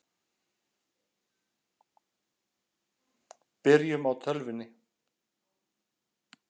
Byrjum á tölvunni.